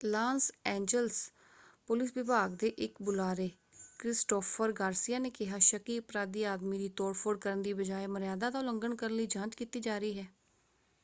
Las Angeles police ਵਿਭਾਗ ਦੇ ਇੱਕ ਬੁਲਾਰੇ ਕ੍ਰਿਸਟੋਫ਼ਰ ਗਾਰਸੀਆ ਨੇ ਕਿਹਾ ਸ਼ੱਕੀ ਅਪਰਾਧੀ ਆਦਮੀ ਦੀ ਤੋੜ-ਫੋੜ ਕਰਨ ਦੀ ਬਜਾਏ ਮਰਯਾਦਾ ਦਾ ਉਲੰਘਣ ਕਰਨ ਲਈ ਜਾਂਚ ਕੀਤੀ ਜਾ ਰਹੀ ਹੈ।